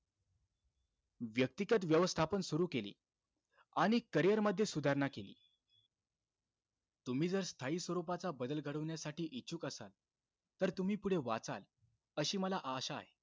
व्यतिगत व्यवस्थापन सुरु केले, आणि career मध्ये सुधारणा केली. तुम्ही जर स्थायी स्वरूपाचा बदल घडवण्यासाठी इच्छुक असाल, तर तुम्ही पुढे वाचाल, अशी मला आशा आहे.